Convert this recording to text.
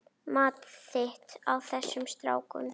Mat þitt á þessum strákum?